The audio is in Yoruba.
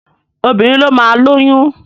Obìnrin ló máa lóyún.